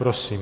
Prosím.